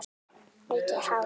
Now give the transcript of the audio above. Mikið hár.